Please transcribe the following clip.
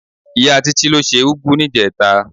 Ìyá Títí ló se úgú níjẹta.